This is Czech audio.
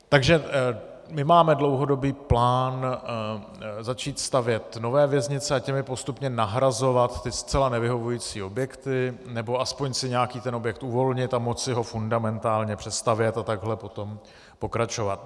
Takže my máme dlouhodobý plán začít stavět nové věznice a těmi postupně nahrazovat ty zcela nevyhovující objekty, nebo aspoň si nějaký ten objekt uvolnit a moci ho fundamentálně přestavět a takhle potom pokračovat.